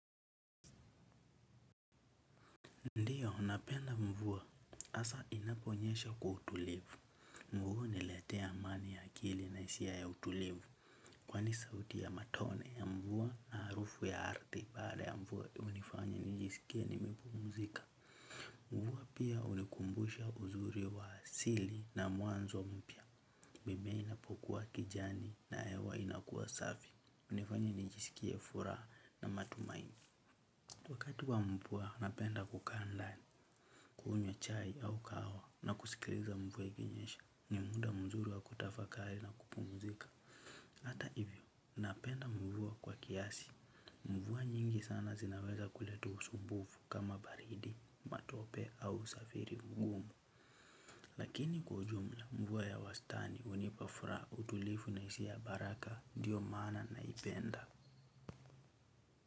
Ndiyo, napenda mvua. Hasa inaponyesha kwa utulivu. Mvua ina niletea amani ya akili na hisia ya utulivu. Kwani sauti ya matone ya mvua na harufu ya ardhi. Baada ya mvua, hunifanya nijiskie nimepumzika. Mvua pia hunikumbusha uzuri wa asili na mwanzo mpya. Mimea inapokuwa kijani na hewa inakuwa safi. Hunifanya nijisikie fura na matumaini. Wakati wa mvua napenda kukaa ndani, kunywa chai au kahawa na kusikiliza mvua ikinyesha ni muda mzuri wa kutafakari na kupumuzika. Hata hivyo, napenda mvua kwa kiasi. Mvua nyingi sana zinaweza kuletu usumbufu kama baridi, matope au usafiri mgumu. Lakini kwa jumla mvua ya wastani hunipafura utulifu na hisia ya baraka ndiyo maana naipenda.